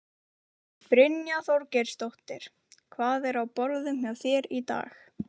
Brynja Þorgeirsdóttir: Hvað er á borðum hjá þér í dag?